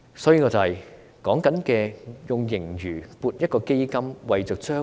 所以，我們所說的是利用盈餘設立一個基金，未雨綢繆。